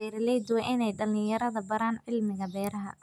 Beeraleydu waa inay dhalinyarada baraan cilmiga beeraha.